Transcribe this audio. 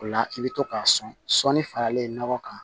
O la i bɛ to k'a sɔni faralen nɔgɔ kan